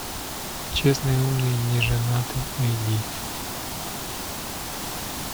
честный умный неженатый найди